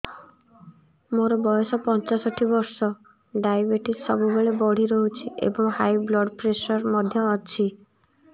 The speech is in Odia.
ମୋର ବୟସ ପଞ୍ଚଷଠି ବର୍ଷ ଡାଏବେଟିସ ସବୁବେଳେ ବଢି ରହୁଛି ଏବଂ ହାଇ ବ୍ଲଡ଼ ପ୍ରେସର ମଧ୍ୟ ଅଛି